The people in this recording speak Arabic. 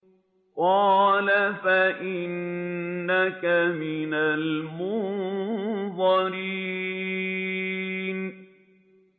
قَالَ فَإِنَّكَ مِنَ الْمُنظَرِينَ